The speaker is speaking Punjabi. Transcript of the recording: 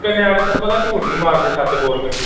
ਕਿ ਨਿਆਣੇ ਤੈਨੂੰ ਪਤਾ ਝੂਠ ਨੀ ਮਾਰਦੇ ਸੱਚ ਬੋਲ ਪੈਂਦੇ